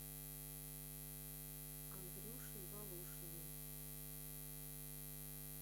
андрюшей волошиным